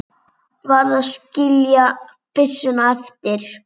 Varð að skilja byssuna eftir.